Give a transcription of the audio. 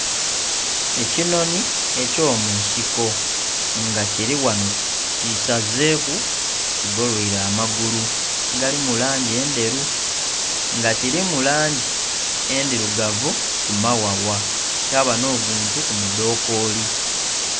Ekinhonhi eky'omunsiko nga kili ghanho kisazeeku kigoloile amagulu agali mu langi endheru, nga kilimu langi endhilugavu ku maghagha, kyaba nh'oguntu ku mudhokooli.